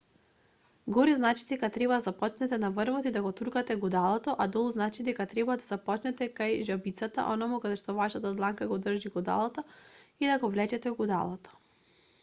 горе значи дека треба да започнете на врвот и да го туркате гудалото а долу значи дека треба да започнете кај жабицата онаму каде вашата дланка го држи гудалото и да го влечете гудалото